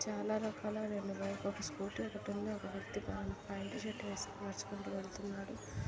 చాలా రకాల రెండు బైకు ఒక స్కూటీ ఒకటుంది. ఒక వ్యక్తి ప్యాంటు షర్ట్ వేసుకుని నడుచుకుంటూ వెళ్తున్నాడు.